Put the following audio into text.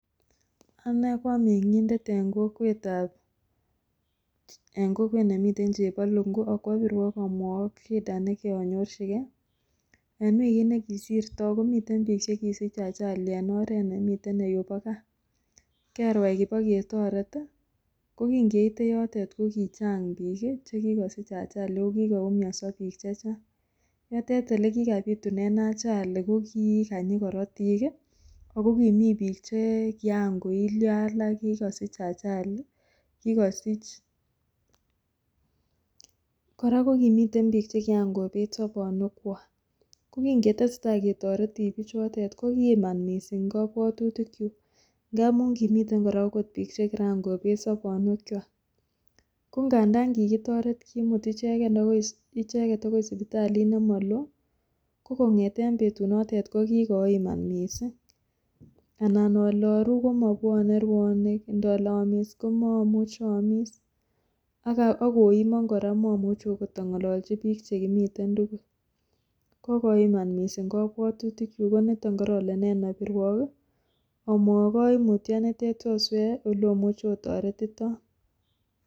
Anee ko ameng'itet en kokwet nemiten chepolungu akwopirwok amwowok shida nekianyorchike en wikit nekisirto komiten piik chekisich ajali en oret nemiten yupo gaa kerwae ipoketoret kokingeite yoto kokichang piik chekikosich ajali ako kiumioso piik chechang yotet elekikapitunen ajaili kokii kanyin korotik ako kimii piik chekiankoilyo alak kikosich ajali, kora kokimiten piik chekian kobet sobonywekwak kokingetesetai ketoreti piichotet kokiiman mising kobwatutikyuk ngamum kimiten kora okot piik chekiran kobet sobonywekwak konganda kikitoret kimut icheket akoi sipitalit nemoloo kokong'eten betunoten kokikoiman mising anan ale aruu komobwonee ruanik ndole aamis komomuche aamis akoimon kora momuche akot ang'ololchi akot piik chekimiten tugul kokoiman mising kabwatutikyuk koniton korole nen abirwok amwowok koimutyonitet soswee oleomuch otoretiton.